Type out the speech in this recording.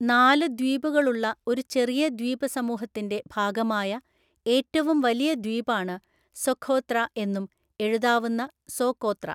നാല് ദ്വീപുകളുള്ള ഒരു ചെറിയ ദ്വീപസമൂഹത്തിന്റെ ഭാഗമായ ഏറ്റവും വലിയ ദ്വീപാണ് സൊഖോത്ര എന്നും എഴുതാവുന്ന സോകോത്ര.